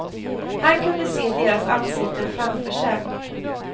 Han kunde se deras ansikten framför sig.